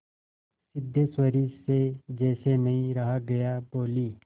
सिद्धेश्वरी से जैसे नहीं रहा गया बोली